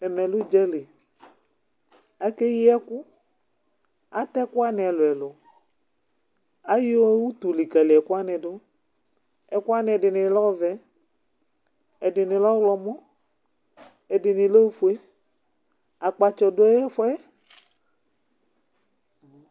ɛmɛ lɛ udzali, ku ake yi ɛku, atɛ ɛku wʋani ɛlu ɛlu , ayu utu likali ɛku wʋani du , ɛku wʋani ni ɛdini lɛ ɔvɛ, ɛdini lɛ ɔwlɔmɔ, ɛdini oƒue, akpatsɔ du ɛfuɛ